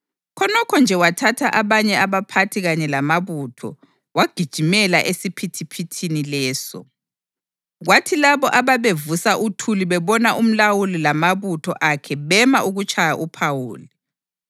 Khonokho nje wathatha abanye abaphathi kanye lamabutho wagijimela esiphithiphithini leso. Kwathi labo ababevusa uthuli bebona umlawuli lamabutho akhe bema ukutshaya uPhawuli.